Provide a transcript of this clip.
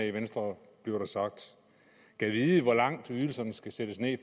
i venstre gad vide hvor langt ydelserne skal sættes ned